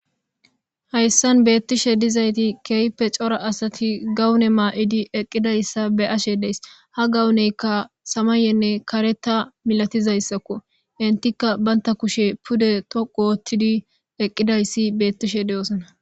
hayssan beettishe dizayti keeype cora asati gawune maa7idi eqqidayssa be ashe dees ha gawuneykka samayenne kareta milatizayssakko intikka baynta kushe pude toquoottidi eqqidayssi beettishe deosona